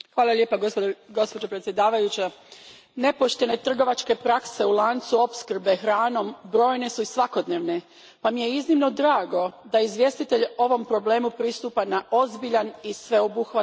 Gospođo predsjednice, nepoštene trgovačke prakse u lancu opskrbe hranom brojne su i svakodnevne pa mi je iznimno drago da izvjestitelj ovom problemu pristupa na ozbiljan i sveobuhvatan način.